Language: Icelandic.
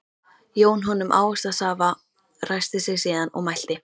Jón honum ávaxtasafa, ræskti sig síðan og mælti